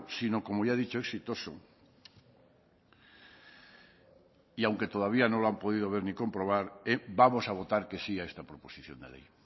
sino como ya he dicho exitoso y aunque todavía no lo han podido ver ni comprobar vamos a votar que sí a esta proposición de ley